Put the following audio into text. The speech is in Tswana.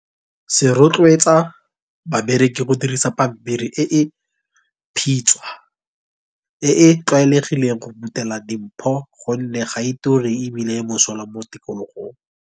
Se rotloetsa bareki go dirisa pampiri e e phitshwa e e tlwaelegileng go phuthela dimpho gonne ga e turi e bile e mosola mo tikologong.